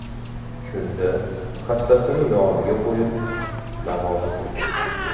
Shunda hassasini yoniga qo‘yib, namoz o‘qigan.